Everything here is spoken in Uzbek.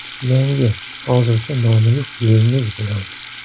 Yangi, hozircha nomi yo‘q yilingiz bilan.